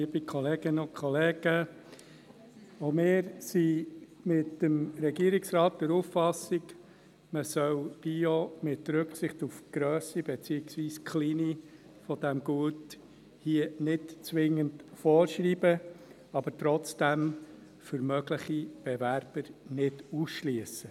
Auch wir sind mit dem Regierungsrat der Auffassung, man solle hier Bio, mit Rücksicht auf die Grösse, beziehungsweise auf die Kleinheit dieses Gutes, nicht zwingend vorschreiben, aber trotzdem für mögliche Bewerber nicht ausschliessen.